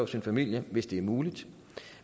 sin familie hvis det er muligt